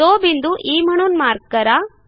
तो बिंदू ई म्हणून मार्क करा